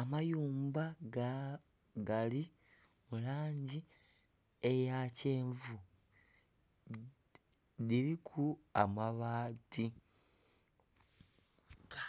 Amayumba gali mulangi eya kyenvu. Dhiriku amabaati…..ga…